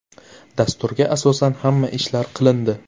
Dasturga asosan hamma ishlar qilindi.